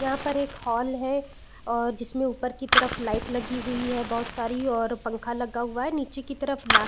यहाँ पर एक हॉल है और जिसमे ऊपर की तरफ लाइट लगी हुई है बहुत सारी और पंखा लगा हुआ है नीचे की तरफ ला --